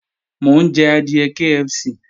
Mò ń jẹ adìẹ KFC